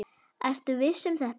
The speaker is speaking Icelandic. Ertu viss um þetta?